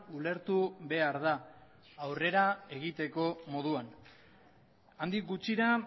ulertu behar da aurrera egiteko moduan handik gutxira